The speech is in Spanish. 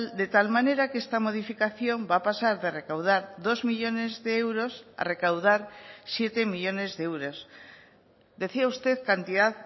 de tal manera que esta modificación va a pasar de recaudar dos millónes de euros a recaudar siete millónes de euros decía usted cantidad